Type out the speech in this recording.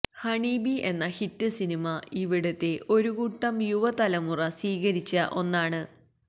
honey Bee എന്ന hit സിനിമ ഇവിടത്തെ ഒരു കൂട്ടം യുവതലമുറ സ്വീകരിച്ച ഒന്നാണ്